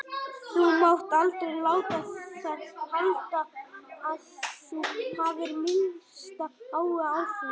Þú mátt aldrei láta það halda að þú hafir minnsta áhuga á því.